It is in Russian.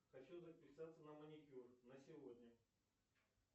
хочу записаться на маникюр на сегодня